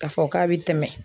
K'a fɔ k'a bɛ tɛmɛ